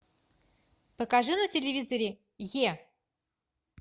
покажи на телевизоре е